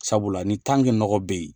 Sabula ni tange nɔgɔ be ye